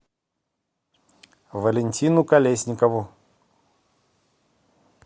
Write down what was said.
валентину колесникову